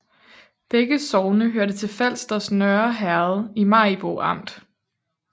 Begge sogne hørte til Falsters Nørre Herred i Maribo Amt